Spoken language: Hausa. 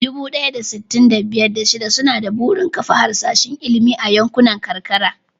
Dubu ɗaya da sittin da biyar, da shida suna da burin kafa harsashin ilimi a yankunan karkara.